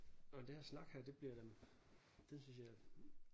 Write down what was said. Nå men det her snak her det bliver da det synes jeg